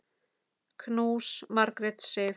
Knús, Margrét Sif.